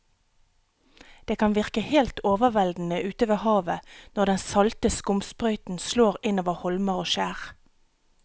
Det kan virke helt overveldende ute ved havet når den salte skumsprøyten slår innover holmer og skjær.